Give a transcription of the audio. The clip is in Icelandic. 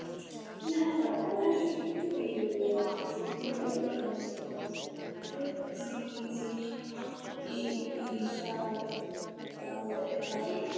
Og ert í laginu eins og sokkur, hí, hí, ha, há.